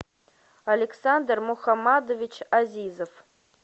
александр мухамадович азизов